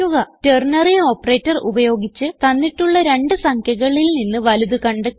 ternary operator ഉപയോഗിച്ച് തന്നിട്ടുള്ള രണ്ട് സംഖ്യകളിൽ നിന്ന് വലുത് കണ്ടെത്തുക